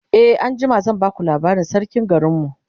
e anjima zan baka labarin sarkin garinmu